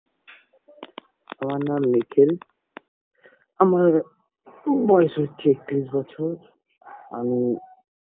আমার নাম নিখিল আমার বয়স হচ্ছে একতিরিশ বছর আমি